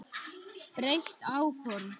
Breytt áform